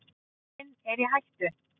Jörðin er í hættu